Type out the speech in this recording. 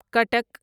Cuttack